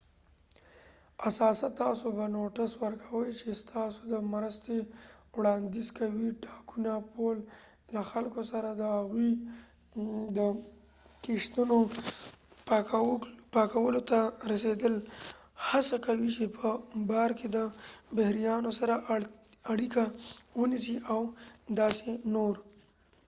اساسا تاسو به نوټس ورکوی چې ستاسو د مرستې وړاندیز کوي ډاکونه پول له خلکو سره د هغوی د کښتونو پاکولو ته رسیدل هڅه کوي چې په بار کې د بحريانو سره اړیکه ونیسي او داسې نور